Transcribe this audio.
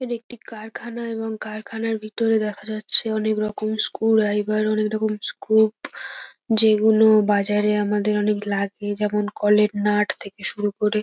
এখানে একটি কারখানা এবং কারখানার ভিতরে দেখা যাচ্ছে অনেক রকম স্ক্রু ড্রাইভার অনেকরকম স্ক্রু । যেগুলো বাজারে আমাদের অনেক লাগে। যেমন কলের নাট থেকে শুরু করে --